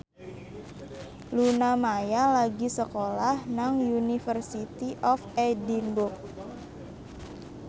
Luna Maya lagi sekolah nang University of Edinburgh